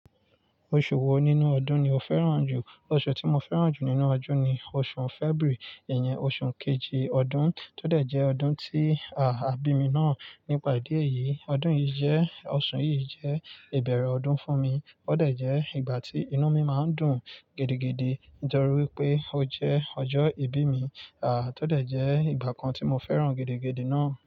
Oṣù wo nínú ọdún ni o fẹ́ràn jù? Oṣù tí mo fẹ́ràn jù nínú ọdún ni oṣù February, ìyẹn oṣù kejì ọdún, tó dẹ̀ jẹ́ ọdún tí, à, àbí mi náà nípa idí ẹ̀yìí. Ọdún yìí jẹ́, oṣù yìí jẹ́ ìbẹ̀rẹ̀ ọdún fún mi, ó dẹ̀ jẹ́ ìgbà tí inú mi máa ń dùn gidi, gidi nítorí pé ó jẹ́ ọjọ́ ìbí mi, à, tó dẹ̀ jẹ́ ìgbà kan tí mo fẹ́ràn gidi, gidi náà.